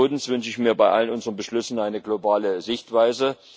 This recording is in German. Zweitens wünsche ich mir bei allen unseren Beschlüssen eine globale Sichtweise.